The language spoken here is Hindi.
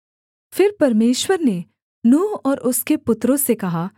फिर परमेश्वर ने नूह और उसके पुत्रों से कहा